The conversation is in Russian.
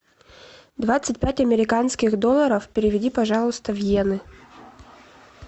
двадцать пять американских долларов переведи пожалуйста в иены